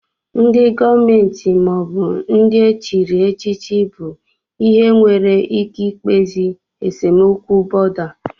Ndị gọọmenti maọbụ ndị e chiri echichi bụ ihe nwere ike ikpezi esemokwu bọ̀da